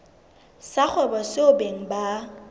sa kgwebo seo beng ba